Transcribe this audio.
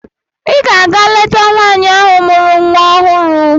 Ị ga-aga leta nwaanyị ahụ mụrụ nwa ọhụrụ!